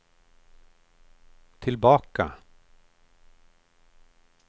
tillbaka